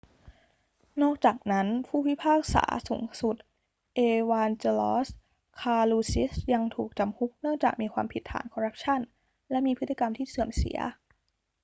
นอกจากนั้น ผู้พิพากษาสูงสุด เอวานเจลอส คาลูซิสยังถูกจำคุกเนื่องจากมีความผิดฐานคอรัปชั่นและมีพฤติกรรมที่เสื่อมเสีย